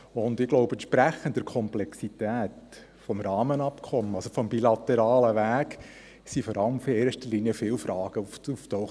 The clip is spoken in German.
Ich glaube, entsprechend der Komplexität des Rahmenabkommens, das heisst des bilateralen Wegs, sind in erster Linie viele Fragen aufgetaucht.